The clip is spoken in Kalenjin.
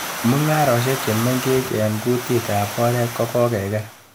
Mung'areshek che mengech eng kutitab oret ko kokeker.